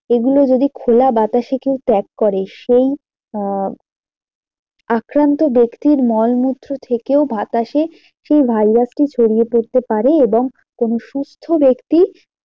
এগুলো যদি খোলা বাতাসে কেউ ত্যাগ করে সেই আহ আক্রান্ত ব্যক্তির মলমূত্র থেকেও বাতাসে সেই virus টি ছড়িয়ে পড়তে পারে এবং কোনো সুস্থ্য ব্যক্তি